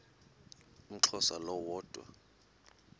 umxhosa lo woda